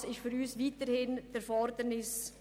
Das bleibt für uns eine Forderung.